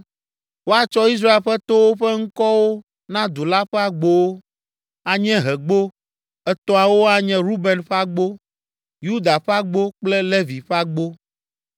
woatsɔ Israel ƒe towo ƒe ŋkɔwo na du la ƒe agbowo. Anyiehegbo etɔ̃awo anye Ruben ƒe agbo, Yuda ƒe agbo kple Levi ƒe agbo.